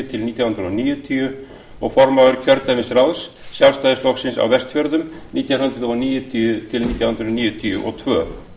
til nítján hundruð níutíu og formaður kjördæmisráðs sjálfstæðisflokksins á vestfjörðum nítján hundruð níutíu til nítján hundruð níutíu og tvö